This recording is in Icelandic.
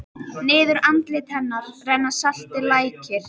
Niður andlit hennar renna saltir lækir.